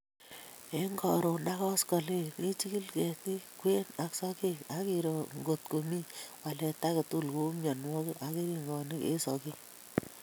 Eng Karon ak koskolen ijikil ketit kwen ak sokek ak iro ngot komi walet age tugul kou mienwokik ak keringonik eng sokek